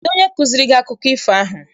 Kedụ onye kụziere gị akụkọ ifo ahụ?